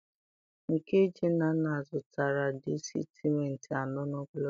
nke ji Nnanna zụtara dị sentimita anọ n'ogologo.